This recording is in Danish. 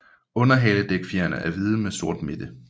Underhaledækfjerene er hvide med sort midte